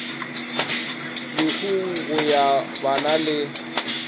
lehung go ya banna le